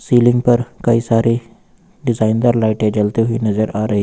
ceiling पर कई सारी डिजाइनर लाइटे जलते हुई नजर आ रही--